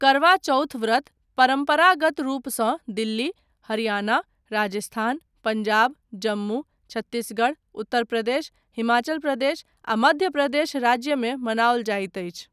करवा चौथ व्रत परम्परागत रूपसँ दिल्ली, हरियाणा, राजस्थान, पंजाब, जम्मू, छत्तीसगढ़, उत्तर प्रदेश, हिमाचल प्रदेश, आ मध्य प्रदेश राज्यमे मनाओल जाइत अछि।